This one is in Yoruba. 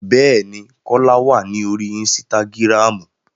Bẹ́ẹ̀ ni, Kọ́lá wà ní orí ínísítágírámù